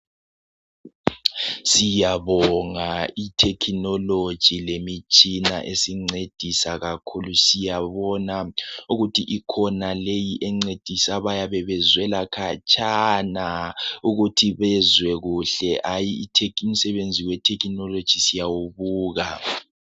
Siyabonga itekinologi lemitshina esincedisa kakhulu siyabona ukuthi ikhona leyi encedisa abayabe bezwela khatshana ukuthi bezwe kuhle hayi umsebenzi we thekinologi siyawubuka